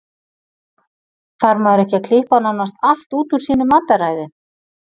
Þarf maður ekki að klippa nánast allt út úr sínu mataræði?